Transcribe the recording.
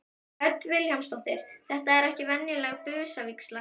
Hödd Vilhjálmsdóttir: Þetta er ekki venjuleg busavígsla?